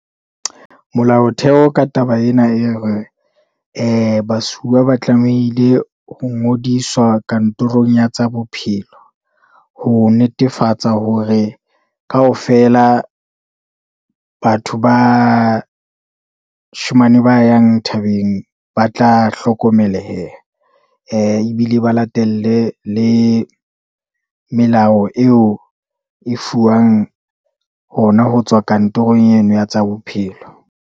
Molaotheo ka taba ena e re ee basuwa ba tlamehile ho ngodiswa kantorong ya tsa bophelo, ho netefatsa hore kaofela batho ba shemane ba yang thabeng ba tla hlokomeleha, ebile ba latele le melao eo e fuwang hona ho tswa kantorong eno ya tsa bophelo.